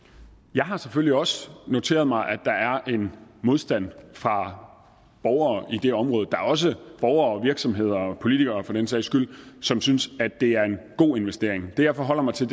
jeg har selvfølgelig også noteret mig at der er en modstand fra borgere i det område der er også borgere virksomheder og politikere for den sags skyld som synes at det er en god investering det jeg forholder mig til